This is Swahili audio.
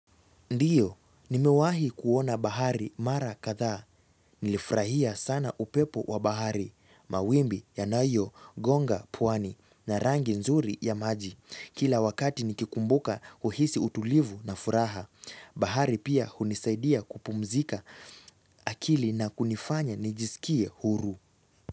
Ndiyo, nimewahi kuona bahari mara kadhaa. Nilifurahia sana upepo wa bahari, mawimbi yanayogonga pwani na rangi nzuri ya maji. Kila wakati nikikumbuka huhisi utulivu na furaha. Bahari pia hunisaidia kupumzika akili na kunifanya nijisikie huru.